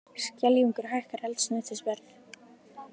Skeljungur hækkar eldsneytisverð